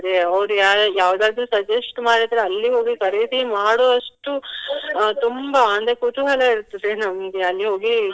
ಅವ್ರು ಯಾರ್ ಯಾವುದಾದ್ರು suggest ಮಾಡಿದ್ರೆ ಅಲ್ಲಿ ಹೋಗಿ ಖರೀದಿ ಮಾಡುವಷ್ಟು ಅಹ್ ತುಂಬಾ ಅಂದ್ರೆ ಕುತೂಹಲ ಇರ್ತದೆ ನಮ್ಗೆ ಅಲ್ಲಿ ಹೋಗಿ.